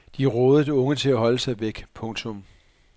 De rådede unge til at holde sig væk. punktum